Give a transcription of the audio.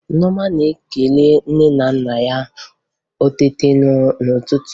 Nneọma na-ekele nne na nna ya ma o teta n'ụtụtụ